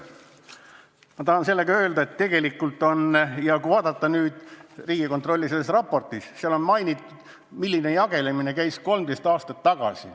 Ma tahan öelda seda, et tegelikult on Riigikontrolli raportis mainitud, milline jagelemine käis 13 aastat tagasi.